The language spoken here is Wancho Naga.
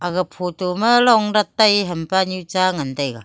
ag photo ma long dat taipu hampanu cha ngantaiga.